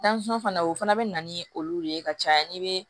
fana o fana bɛ na ni olu de ye ka caya n'i bɛ